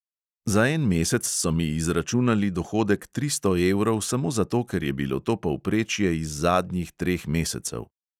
Za en mesec so mi izračunali dohodek tristo evrov samo zato, ker je bilo to povprečje iz zadnjih treh mesecev.